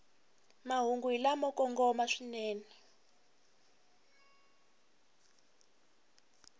mahungu hi lamo kongoma swinene